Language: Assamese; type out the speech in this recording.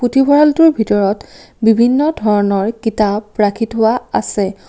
দীৱালটোৰ ভিতৰত বিভিন্ন কিতাপ ৰাখি থোৱা আছে।